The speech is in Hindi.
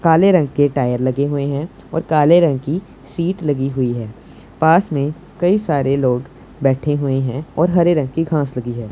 काले रंग के टायर लगे हुए हैं और काले रंग की सीट लगी हुई है पास में कई सारे लोग बैठे हुए हैं और हरे रंग की घास लगी है।